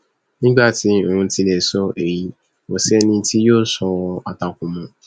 nígbà tí òun ti lè sọ èyí kò sí ẹni tí yóò sọrọ àtakò mọ